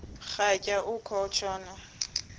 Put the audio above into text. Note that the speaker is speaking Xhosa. rhatya uku tshona